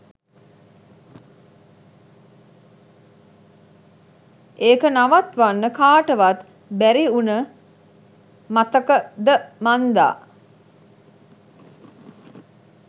එක නවත්වන්න කටවත් බැරිඋන මතකද මන්දා